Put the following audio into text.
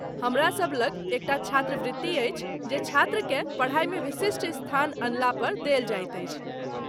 हमरासभ लग एक टा छात्रवृत्ति अछि जे छात्रकेँ पढ़ाइमे विशिष्ट स्थान अनलापर देल जाइत अछि।